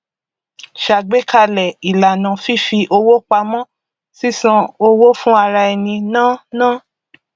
ṣàgbékalẹ ìlànà fífi owó pamọ sísan owó fún araẹni ná ná